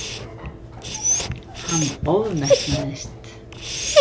Hann ofmetnaðist.